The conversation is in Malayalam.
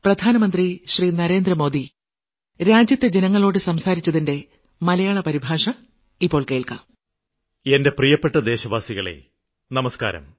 പ്രിയപ്പെട്ട ദേശവാസികളേ നമസ്ക്കാരം